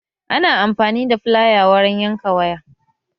Ana amfani da filaya wurin yanka waya